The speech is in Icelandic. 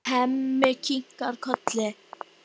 Á örfáum árum.